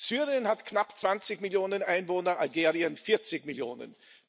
Syrien hat knapp 20 Millionen Einwohner, Algerien 40 Millionen.